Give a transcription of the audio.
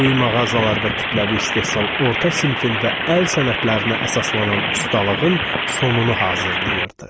Böyük mağazalar və kütləvi istehsal orta sinfin və əl sənətlərinə əsaslanan ustalığın sonunu hazırlayırdı.